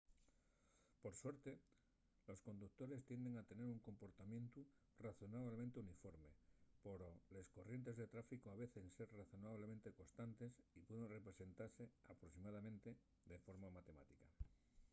por suerte los conductores tienden a tener un comportamientu razonablemente uniforme poro les corrientes de tráficu avecen ser razonablemente constantes y pueden representase aproximadamente de forma matemática